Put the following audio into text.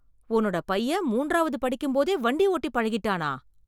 உன்னோட பையன் மூன்றாவது படிக்கும்போதே வண்டி ஓட்டி பழகிட்டானா?